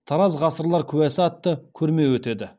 тараз ғасырлар куәсі атты көрме өтеді